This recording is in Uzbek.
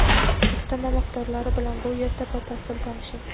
Ustama miqdorlari bilan bu yerda batafsil tanishing.